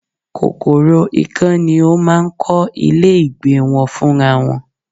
Kòkòrò ikán ni ó máa ń kọ́ ilé ìgbé wọn fún ra wọn